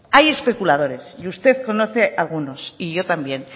hay especuladores y usted conoce algunos y yo también